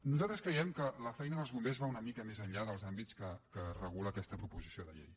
nosaltres creiem que la feina dels bombers va una mi·ca més enllà dels àmbits que regula aquesta proposi·ció de llei